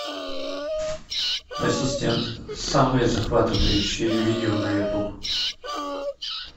ассистент самые захватывающие видео на ютуб